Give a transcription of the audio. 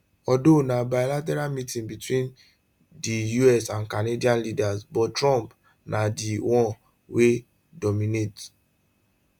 although na bilateral meeting between di us and canadian leaders but trump na di one wey dominate